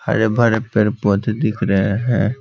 हरे भरे पेड़ पौधे दिख रहे हैं।